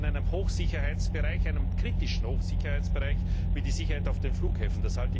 Und das in einem Hochsicherheitsbereich, einem kritischen Hochsicherheitsbereich, wie der Sicherheit auf den Flughäfen.